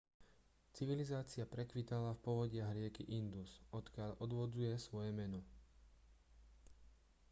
civilizácia prekvitala v povodiach rieky indus odkiaľ odvodzuje svoje meno